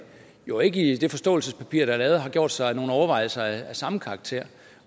jo ikke i det forståelsespapir der er lavet har gjort sig nogen overvejelser af samme karakter